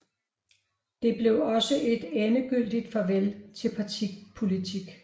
Det blev også et endegyldigt farvel til partipolitik